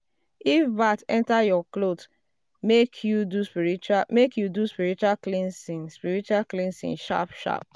if bat enter your cloth make you do spiritual cleansing spiritual cleansing sharp-sharp.